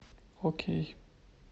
окей